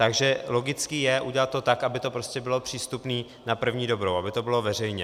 Takže logické je udělat to tak, aby to prostě bylo přístupné na první dobrou, aby to bylo veřejně.